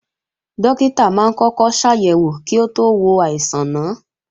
Dókítà máa ń kọ́kọ́ ṣàyẹ̀wò kí ó tó wo àìsàn náà